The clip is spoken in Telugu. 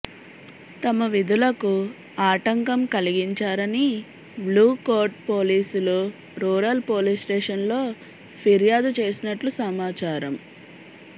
తమ విధులకు ఆటంకం కలిగించారని బ్లూకోట్ పోలీసులు రూరల్ పోలీస్ స్టేషన్లో ఫిర్యాదు చేసినట్లు సమాచారం